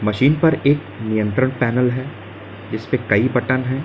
Gene पर एक नियंत्रण पैनल है इस पर कई बटन है।